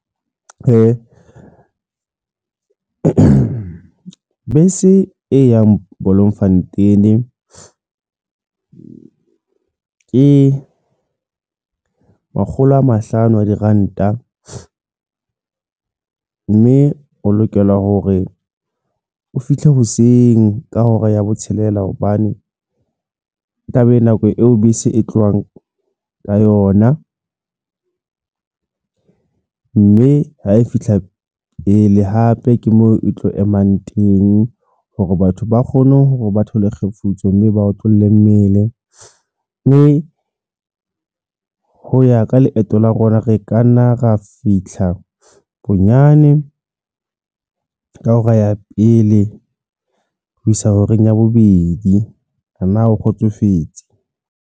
Ke bese e yang Bloemfontein ke makgolo a mahlano a diranta mme o lokela hore o fihle hoseng ka hora ya botshelela hobane taba e nako eo bese e tlohang ka yona mme ha e fihla pele hape ke moo e tlo emang teng hore batho ba kgone hore ba thole kgefutso mme ba otlolle mmele mme ho ya ka leeto la rona, re ka nna ra fitlha bonyane ka hora ya pele ho isa horeng ya bobedi. Ana o kgotsofetse?